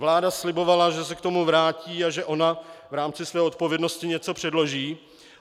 Vláda slibovala, že se k tomu vrátí a že ona v rámci své odpovědnosti něco předloží.